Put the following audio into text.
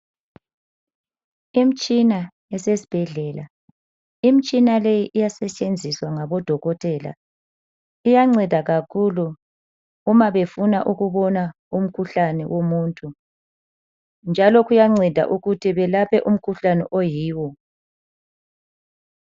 Imtshina yase sibhedlela, imtshina leyi iyasetshenzizwa ngabo dokotela. Iyanceda kakhulu uma befuna ukubona umkhuhlane womuntu. Njalo kuyanceda ukuthi belaphe umkhuhlane oyiwo.